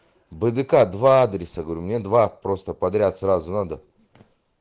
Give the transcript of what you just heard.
бдк два адреса говорю мне два просто подряд сразу надо